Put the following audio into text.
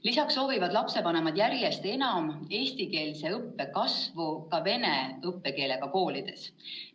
Lisaks soovivad lapsevanemad järjest enam eestikeelse õppe kasvu ka vene õppekeelega koolides.